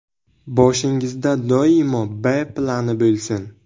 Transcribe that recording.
Boshingizda doimo B plani bo‘lsin.